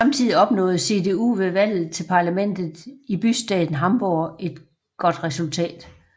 Samtidig opnåede CDU ved valget til parlamentet i bystaten Hamburg et godt resultat